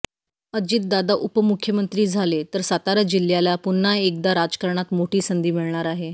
अजितदादा उपमुख्यमंत्री झाले तर सातारा जिल्ह्याला पुन्हा एकदा राजकारणात मोठी संधी मिळणार आहे